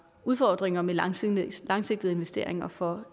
udfordringer med langsigtede langsigtede investeringer for